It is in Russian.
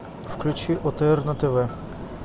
включи отр на тв